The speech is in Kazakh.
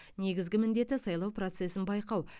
негізгі міндеті сайлау процесін байқау